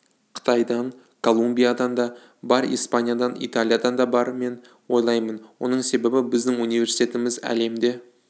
қытайдан колумбиядан да бар испаниядан италиядан да бар мен ойлаймын оның себебі біздің университетіміз әлемде